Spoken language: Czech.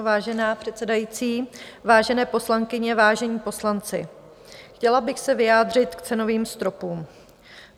Vážená předsedající, vážené poslankyně, vážení poslanci, chtěla bych se vyjádřit k cenovým stropům.